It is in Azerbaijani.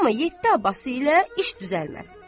Amma yeddi Abbası ilə iş düzəlməz.